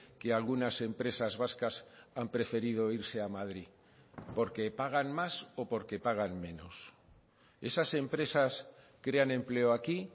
que algunas empresas vascas han preferido irse a madrid porque pagan más o porque pagan menos esas empresas crean empleo aquí